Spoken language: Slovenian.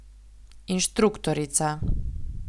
Inštruktorica.